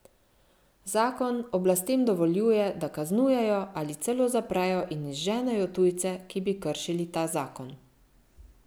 Zakon oblastem dovoljuje, da kaznujejo ali celo zaprejo in izženejo tujce, ki bi kršili ta zakon.